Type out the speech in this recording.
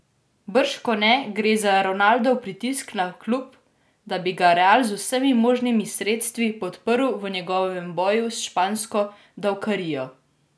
Bržkone gre za Ronaldov pritisk na klub, da bi ga Real z vsemi možnimi sredstvi podprl v njegovem boju s špansko davkarijo.